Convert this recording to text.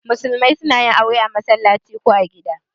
Musulmai suna yin aure a masallaci ko gida.